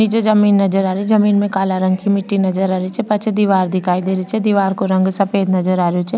निचे जमीं नजर आ रही जमीं में काला रंग की मिट्टी नज़र आ री छे पाछे दिवार दिखाई दे री छे दिवार को रंग सफ़ेद नज़र आ रेहो छे।